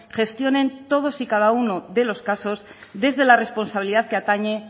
gestionen todos y cada uno de los casos desde la responsabilidad que atañe